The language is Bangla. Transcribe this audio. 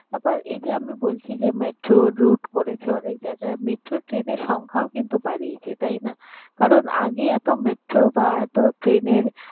আবার এই যে আমি বলছি যে metro root করেছে অনেক জায়গায়, metro train এর সংখ্যাও কিন্তু বাড়িয়েছে। তাই না? কারণ আগে এত metro বা এত train এর